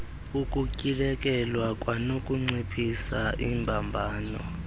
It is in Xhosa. ukutyhilekelwa kwanokunciphisa iimbambano